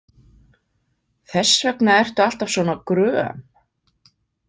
Þess vegna ertu alltaf svona gröm.